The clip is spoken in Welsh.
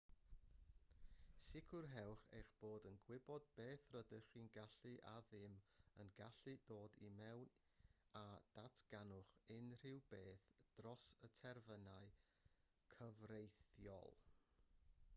sicrhewch eich bod yn gwybod beth rydych chi'n gallu a ddim yn gallu dod i mewn a datganwch unrhyw beth dros y terfynau cyfreithiol